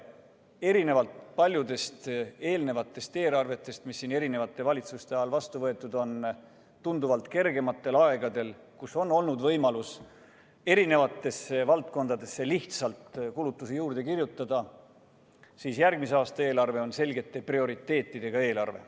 Erinevalt paljudest eelmistest eelarvetest, mis siin erinevate valitsuste ajal on vastu võetud tunduvalt kergematel aegadel, kus on olnud võimalus eri valdkondadesse lihtsalt kulutusi juurde kirjutada, on järgmise aasta eelarve selgete prioriteetidega eelarve.